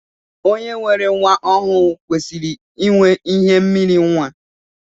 Onye nwere nwa ọhụụ kwesịrị inwe ihe mmiri nwa.